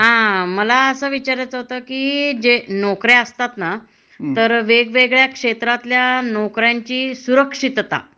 हा मला अस विचारायचं होत की, जे नोकऱ्या असतात ना, तर वेगवेगळ्या क्षेत्रातल्या नोकऱ्यांची सुरक्षितता.